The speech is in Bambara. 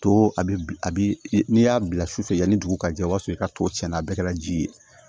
To a bi a bi n'i y'a bila su fɛ yani dugu ka jɛ o b'a sɔrɔ i ka to tiɲɛna a bɛɛ kɛra ji ye